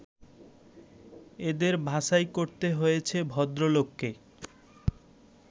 এদের বাছাই করতে হয়েছে ভদ্রলোককে